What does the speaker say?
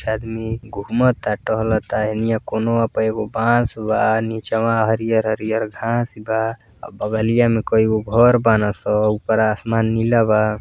आदमी घुमता टहलता हेनिया कोनवा पर एक बास बा। निचवा हरिहर हरिहर घास बा। बगलिया में कईगो घर बनासन। ऊपर आसमान निला बा।